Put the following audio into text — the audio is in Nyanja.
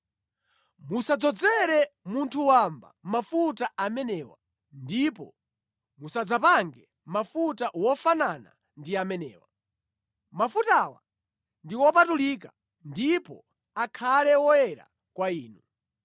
Musadzadzozere munthu wamba mafuta amenewa, ndipo musadzapange mafuta wofanana ndi amenewa. Mafutawa ndi wopatulika ndipo akhale woyera kwa inu.